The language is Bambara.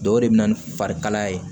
Dɔw de bɛ na ni farikalaya ye